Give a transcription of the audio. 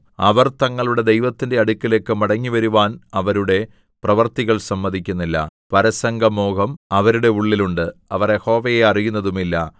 അവർ തങ്ങളുടെ ദൈവത്തിന്റെ അടുക്കലേക്ക് മടങ്ങിവരുവാൻ അവരുടെ പ്രവൃത്തികൾ സമ്മതിക്കുന്നില്ല പരസംഗമോഹം അവരുടെ ഉള്ളിൽ ഉണ്ട് അവർ യഹോവയെ അറിയുന്നതുമില്ല